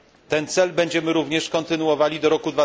Ten cel będziemy również kontynuowali do roku